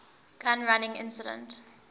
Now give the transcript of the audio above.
gun running incident